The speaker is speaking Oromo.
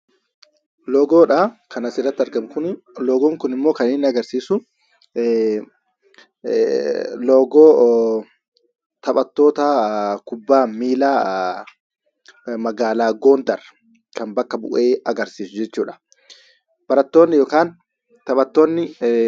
Loogoodha kan asirratti argamu kun. Loogoon kun immoo kan inni agarsiisu loogoo taphattoota kubbaa miilaa magaalaa Gondar bakka bu'ee agarsiisa jechuudha.